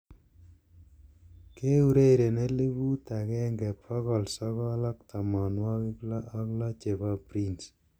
keureren elipu agenge bogol sogol ak tomonwogik loo ak loo chepo prince